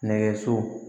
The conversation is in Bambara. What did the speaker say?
Nɛgɛso